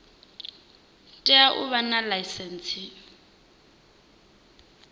tea u vha na ḽaisentsi